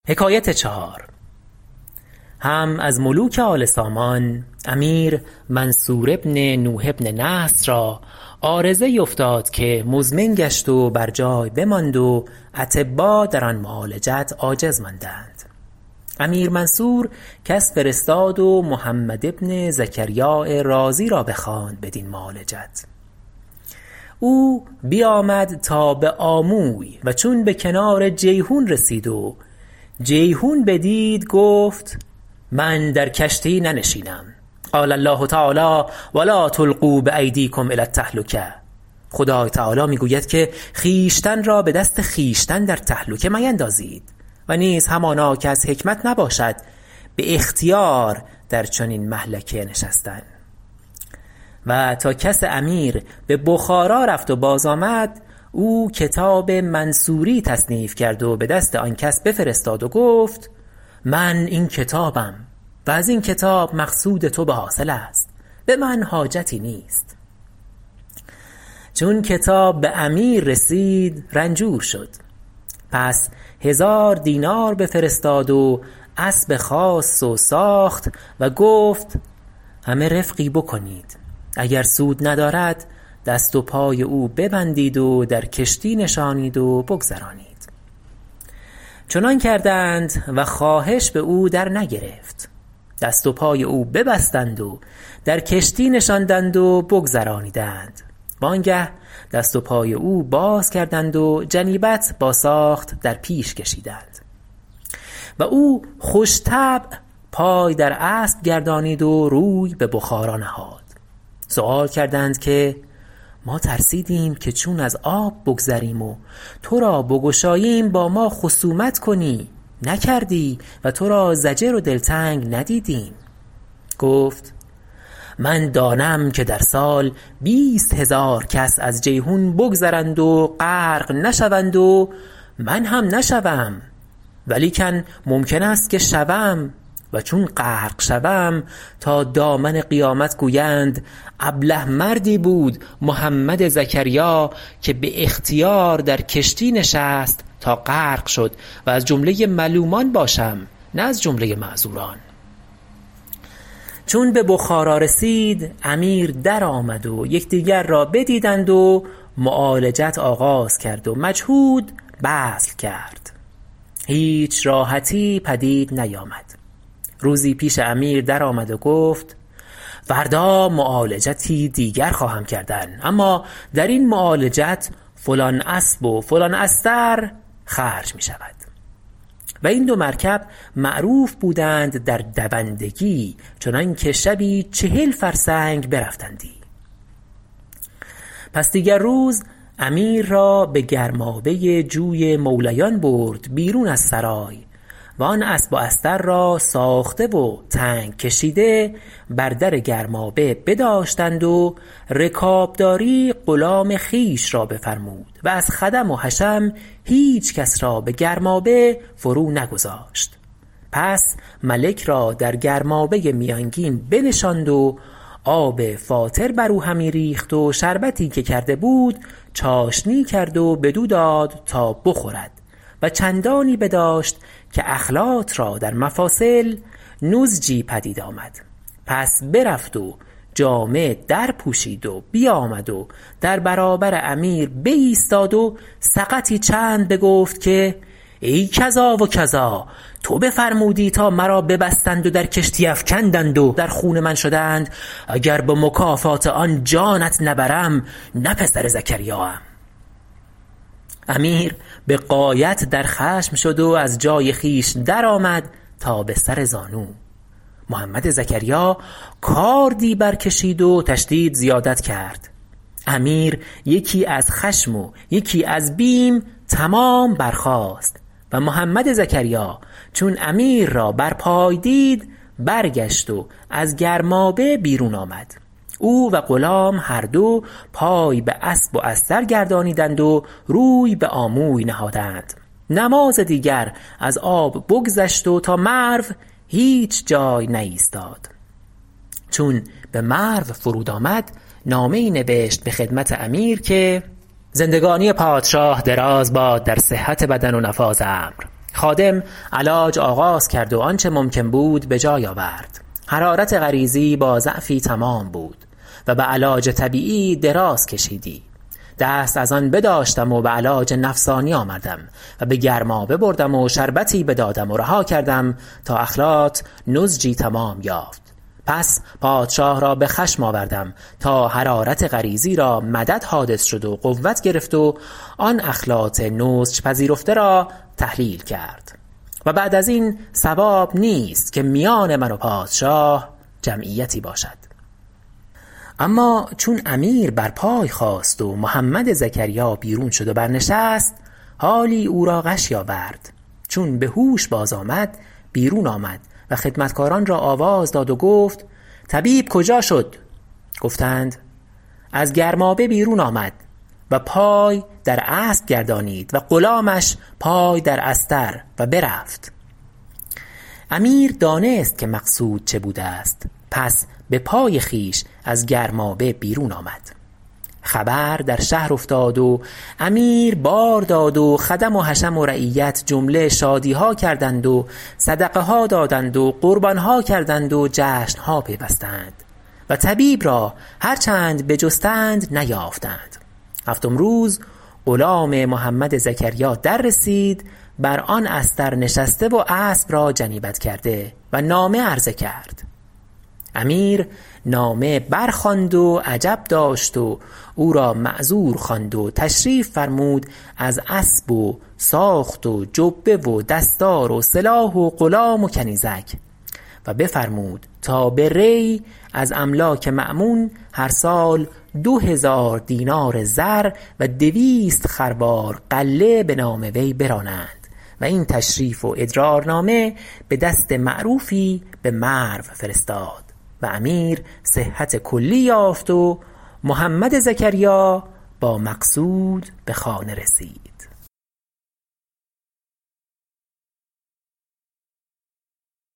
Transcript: هم از ملوک آل سامان امیر منصور بن نوح بن نصر را عارضه ای افتاد که مزمن گشت و بر جای بماند و اطبا در آن معالجت عاجز ماندند امیر منصور کس فرستاد و محمد بن زکریاء رازی را بخواند بدین معالجت او بیامد تا به آموی و چون به کنار جیحون رسید و جیحون بدید گفت من در کشتی ننشینم قال الله تعالی و لا تلقوا بایدیکم الى التهلکة خدای تعالی می گوید که خویشتن را به دست خویشتن در تهلکه میندازید و نیز همانا که از حکمت نباشد به اختیار در چنین مهلکه نشستن و تا کس امیر به بخارا رفت و باز آمد او کتاب منصوری تصنیف کرد و به دست آن کس بفرستاد و گفت من این کتابم و از این کتاب مقصود تو به حاصل است به من حاجتی نیست چون کتاب به امیر رسید رنجور شد پس هزار دینار بفرستاد و اسب خاص و ساخت و گفت همه رفقی بکنید اگر سود ندارد دست و پای او ببندید و در کشتی نشانید و بگذرانید چنان کردند و خواهش به او در نگرفت دست و پای او ببستند و در کشتی نشاندند و بگذرانیدند و آنگه دست و پای او باز کردند و جنیبت با ساخت در پیش کشیدند و او خوش طبع پای در اسب گردانید و روی به بخارا نهاد سؤال کردند که ما ترسیدیم که چون از آب بگذریم و تو را بگشاییم با ما خصومت کنی نکردی و تو را ضجر و دلتنگ ندیدیم گفت من دانم که در سال بیست هزار کس از جیحون بگذرند و غرق نشوند و من هم نشوم ولیکن ممکن است که شوم و چون غرق شوم تا دامن قیامت گویند ابله مردی بود محمد زکریا که به اختیار در کشتی نشست تا غرق شد و از جمله ملومان باشم نه از جمله معذوران چون به بخارا رسید امیر در آمد و یکدیگر را بدیدند و معالجت آغاز کرد و مجهود بذل کرد هیچ راحتی پدید نیامد روزی پیش امیر در آمد و گفت فردا معالجتی دیگر خواهم کردن اما در این معالجت فلان اسب و فلان استر خرج می شود و این دو مرکب معروف بودند در دوندگی چنان که شبی چهل فرسنگ برفتندی پس دیگر روز امیر را به گرمابه جوی مولیان برد بیرون از سرای و آن اسب و استر را ساخته و تنگ کشیده بر در گرمابه بداشتند و رکابداری غلام خویش را بفرمود و از خدم و حشم هیچ کس را به گرمابه فرو نگذاشت پس ملک را در گرمابه میانگین بنشاند و آب فاتر بر او همی ریخت و شربتی که کرده بود چاشنی کرد و بدو داد تا بخورد و چندانی بداشت که اخلاط را در مفاصل نضجی پدید آمد پس برفت و جامه در پوشید و بیامد و در برابر امیر بایستاد و سقطی چند بگفت که ای کذا و کذا تو بفرمودی تا مرا ببستند و در کشتی افکندند و در خون من شدند اگر به مکافات آن جانت نبرم نه پسر زکریا ام امیر به غایت در خشم شد و از جای خویش در آمد تا به سر زانو محمد زکریا کاردی بر کشید و تشدید زیادت کرد امیر یکی از خشم و یکی از بیم تمام برخاست و محمد زکریا چون امیر را بر پای دید برگشت و از گرمابه بیرون آمد او و غلام هر دو پای به اسب و استر گردانیدند و روی به آموی نهادند نماز دیگر از آب بگذشت و تا مرو هیچ جای نایستاد چون به مرو فرود آمد نامه ای نوشت به خدمت امیر که زندگانی پادشاه دراز باد در صحت بدن و نفاذ امر خادم علاج آغاز کرد و آنچه ممکن بود به جای آورد حرارت غریزی با ضعفی تمام بود و به علاج طبیعی دراز کشیدی دست از آن بداشتم و به علاج نفسانی آمدم و به گرمابه بردم و شربتی بدادم و رها کردم تا اخلاط نضجی تمام یافت پس پادشاه را به خشم آوردم تا حرارت غریزی را مدد حادث شد و قوت گرفت و آن اخلاط نضج پذیرفته را تحلیل کرد و بعد از این صواب نیست که میان من و پادشاه جمعیتی باشد اما چون امیر بر پای خاست و محمد زکریا بیرون شد و بر نشست حالی او را غشی آورد چون به هوش باز آمد بیرون آمد و خدمتکاران را آواز داد و گفت طبیب کجا شد گفتند از گرمابه بیرون آمد و پای در اسب گردانید و غلامش پای در استر و برفت امیر دانست که مقصود چه بوده است پس به پای خویش از گرمابه بیرون آمد خبر در شهر افتاد و امیر بار داد و خدم و حشم و رعیت جمله شادیها کردند و صدقه ها دادند و قربانها کردند و جشنها پیوستند و طبیب را هر چند بجستند نیافتند هفتم روز غلام محمد زکریا در رسید بر آن استر نشسته و اسب را جنیبت کرده و نامه عرض کرد امیر نامه بر خواند و عجب داشت و او را معذور خواند و تشریف فرمود از اسب و ساخت و جبه و دستار و سلاح و غلام و کنیزک و بفرمود تا به ری از املاک مأمون هر سال دو هزار دینار زر و دویست خروار غله به نام وی برانند و این تشریف و ادرارنامه به دست معروفی به مرو فرستاد و امیر صحت کلی یافت و محمد زکریا با مقصود به خانه رسید